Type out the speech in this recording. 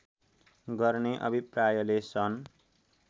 गर्ने अभिप्रायले सन्